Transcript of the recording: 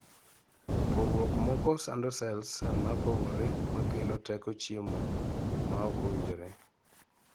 pogruok moko sando sels mapogore makelo teko chiemo maok maok owinjore